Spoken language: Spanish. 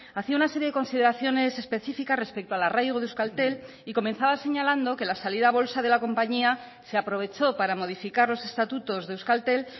hacía una serie de consideraciones específicas respecto al arraigo de euskaltel y comenzaba señalando que la salida a bolsa de la compañía se aprovechó para modificar los estatutos de euskaltel